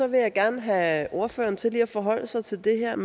vil jeg gerne have ordføreren til lige at forholde sig til det her